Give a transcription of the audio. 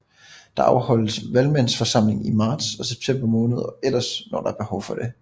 Der afholdes Valgmandsforsamling i marts og september måned og ellers når der behov for det